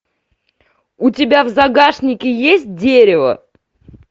у тебя в загашнике есть дерево